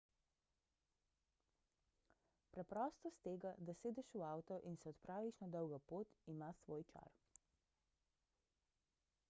preprostost tega da sedeš v avto in se odpraviš na dolgo pot ima svoj čar